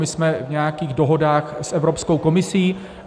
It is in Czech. My jsme v nějakých dohodách s Evropskou komisí.